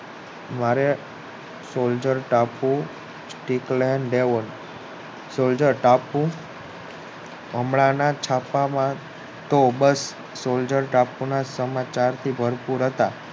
મારે સોલ્જર ટાપુ ડીપ્લેઇન સોલ્જર ટાપુ હમણાં ના છાપા માં કોબલ સોલ્જર ટાપુ ના સમાચાર થી ભાર પૂર હતા